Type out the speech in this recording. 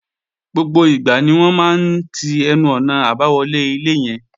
Gbogbo ìgbà ni wọ́n máa ń ti ẹnu-ọ̀nà àbáwọlé ilé yẹn